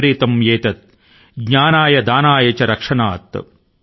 విపరీతం ఏతత్ జ్ఞానాయ దానాయ చ రక్షనాయ|| అని అన్నారు